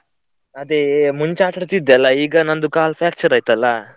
ಅದೇ ಮುಂಚೆ ಆಟ ಆಡ್ತಾ ಇದ್ದೆ ಅಲ್ಲ ಈಗ ನಂದು ಕಾಲು fracture ಆಯ್ತ್ ಅಲ್ಲ.